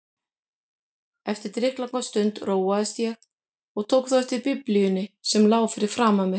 Eftir drykklanga stund róaðist ég og tók þá eftir Biblíunni sem lá fyrir framan mig.